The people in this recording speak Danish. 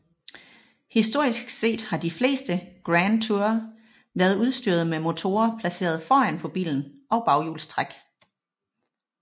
Historisk set har de fleste Grand Tourer været udstyret med motorer placeret foran på bilen og baghjulstræk